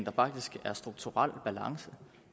er faktisk strukturel balance